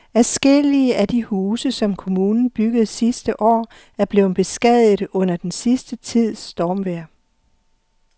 Adskillige af de huse, som kommunen byggede sidste år, er blevet beskadiget under den sidste tids stormvejr.